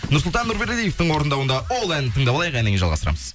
нұрсұлтан нұрбердиевтің орындауында ол әнін тыңдап алайық әннен кейін жалғастырамыз